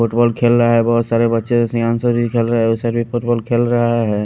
Football खेल रहा है बहुत सारे बच्चे भी यहाँ पे खेल रहा है उस भी फुटबॉल खेल रहा है।